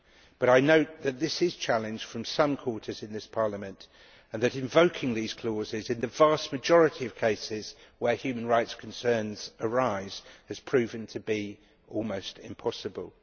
But I know that this is challenged from some quarters in this Parliament and that invoking these clauses in the vast majority of cases where human rights concerns arise has proven to be almost impossible.